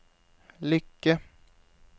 lykke